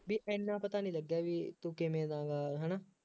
ਬਈ ਐਨਾ ਪਤਾ ਨਹੀਂ ਲੱਗਿਆ ਬਈ ਤੂੰ ਕਿਵੇ ਦਾ ਹੈ ਨਾ